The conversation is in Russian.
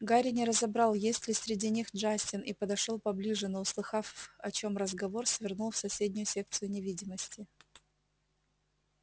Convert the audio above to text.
гарри не разобрал есть ли среди них джастин и подошёл поближе но услыхав о чем разговор свернул в соседнюю секцию невидимости